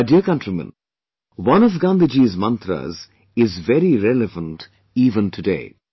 My dear countrymen, one of Gandhiji's mantras is very relevant event today